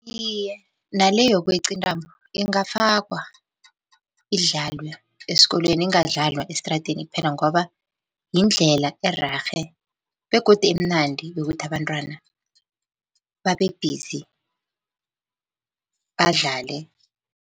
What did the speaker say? Iye, nale yokweqa intambo ingafakwa, idlalwe esikolweni ingadlalwa estradeni kuphela, ngoba yindlela ererhe begodu emnandi yokuthi abantwana babe-busy badlale.